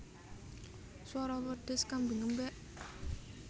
Swara wedhus kambing ngembek